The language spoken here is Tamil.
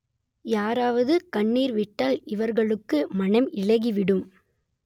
யாராவது கண்ணீர் விட்டால் இவர்களுக்கு மனம் இளகி விடும்